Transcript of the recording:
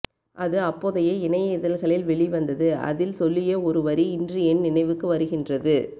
அது அப்போதைய இணைய இதழ்களில் வெளி வந்தது அதில் சொல்லிய ஒரு வரி இன்று என் நினைவுக்கு வருகின்றது